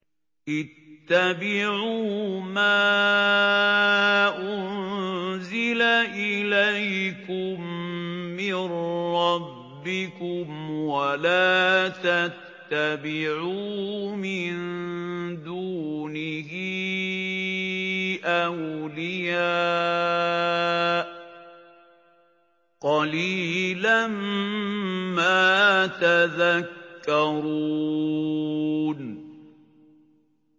اتَّبِعُوا مَا أُنزِلَ إِلَيْكُم مِّن رَّبِّكُمْ وَلَا تَتَّبِعُوا مِن دُونِهِ أَوْلِيَاءَ ۗ قَلِيلًا مَّا تَذَكَّرُونَ